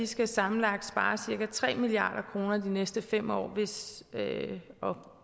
skal sammenlagt spare cirka tre milliard kroner de næste fem år og